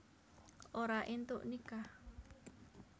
Ora éntuk nikah